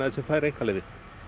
sem fær einkaleyfi